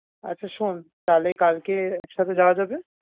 আচ্ছা শোন, তাহলে কালকে একসাথে যাওয়া যাবে।